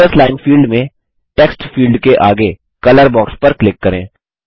teachers line field में text field के आगे कलर बॉक्स पर क्लिक करें